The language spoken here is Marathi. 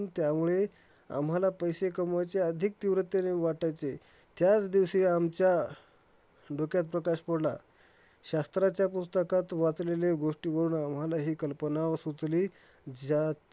आम्हाला पैसे कमवायचे आधीक तीव्रतेने वाटायचे, त्याच दिवशी आमच्या डोक्यात प्रकाश पडला. शास्त्राच्या पुस्तकात वाचलेले गोष्टी बघून आम्हालाही कल्पना सुचली, ज्यात